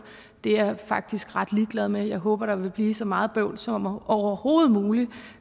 det er jeg faktisk ret ligeglad med jeg håber der vil blive så meget bøvl som overhovedet muligt